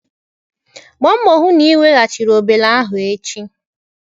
Gbaa mbọ hụ na ị weghachiri obele ahụ echi.